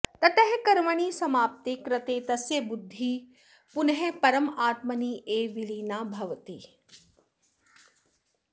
ततः कर्मणि समाप्ते कृते तस्य बुद्धिः पुनः परमात्मनि एव विलीना भवति